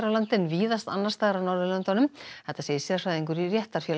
landi en víðast annars staðar á Norðurlöndunum þetta segir sérfræðingur í